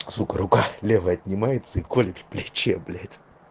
сука рука левая отнимается и колит в плече блять